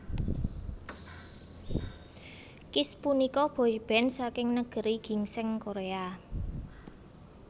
Kiss punika boyband saking Negeri Ginseng Korea